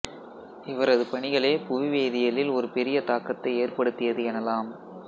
இவரது பணிகளே புவிவேதியியலில் ஒரு பெரிய தாக்கத்தை ஏற்படுத்தியது எனலாம்